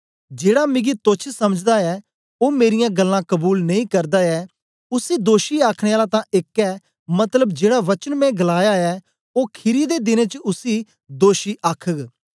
जेड़ा मिगी तोच्छ समझदा ऐ ओ मेरीयां गल्लां कबूल नेई करदा ऐ उसी दोषी आखने आला तां एक ऐ मतलब जेड़ा वचन मैं गलाया ऐ ओ खीरी दे दिनें च उसी दोषी आखघ